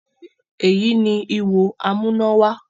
Èyí ni “ihò amúnáwá”